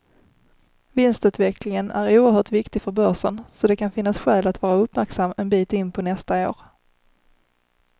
Vinstutvecklingen är oerhört viktig för börsen, så det kan finnas skäl att vara uppmärksam en bit in på nästa år.